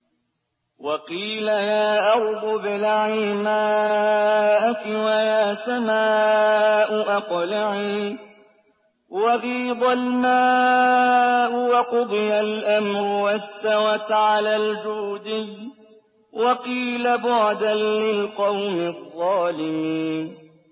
وَقِيلَ يَا أَرْضُ ابْلَعِي مَاءَكِ وَيَا سَمَاءُ أَقْلِعِي وَغِيضَ الْمَاءُ وَقُضِيَ الْأَمْرُ وَاسْتَوَتْ عَلَى الْجُودِيِّ ۖ وَقِيلَ بُعْدًا لِّلْقَوْمِ الظَّالِمِينَ